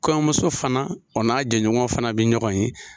Kɔɲɔmuso fana o n'a jɛɲɔgɔn fana bɛ ɲɔgɔn ye.